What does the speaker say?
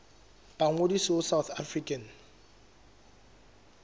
ba ngodise ho south african